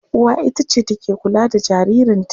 Uwa ita ce take kula da jaririnta.